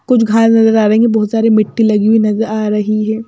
कुछ नजर आ रहे हैं बहुत सारे मिट्टी लगी हुई नजर आ रही है।